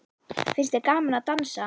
Finnst þér gaman að dansa?